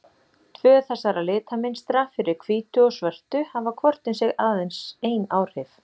Tvö þessara litamynstra, fyrir hvítu og svörtu, hafa hvort um sig aðeins ein áhrif.